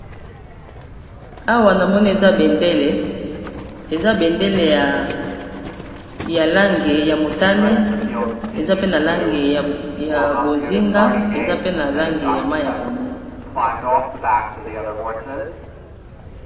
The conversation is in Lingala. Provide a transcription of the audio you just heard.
Awa na mone eza bendele eza bendele ya langi ya motane eza pe na langi ya bozinga eza pe na langi ya mai ya pondu.